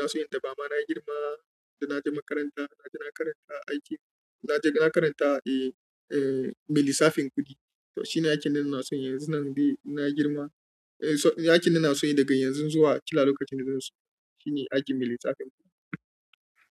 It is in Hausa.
na so yi da ba ma na girma da na je makaranta, na je na karanta aikin, na je na karanta eh eh melisafin kuɗi. To shi ne aikin da na so yi yanzu nan dai na girma. Eh so aikin da na so yi daga yanzu zuwa kila lokacin da zan zo shi ne aikin melisafin kuɗi.